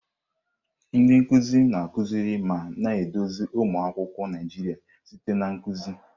Ndị nkuzi na-akụziri ma na-eduzi ụmụ akwụkwọ Naijiria site na nkuzi.